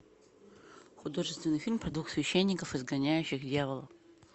художественный фильм про двух священников изгоняющих дьявола